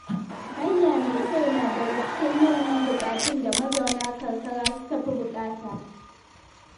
Hanya mai kyau na daga cikin manyan buƙatun da mazauna karkara suka fi buƙata.